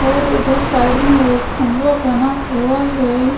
और इधर साइड में एक खंवा बना हुआ है।